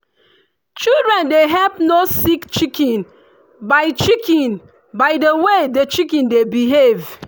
children dey help know sick chicken by chicken by the way the chicken dey behave.